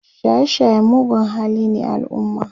shaye shaye mugun hali ne a alumma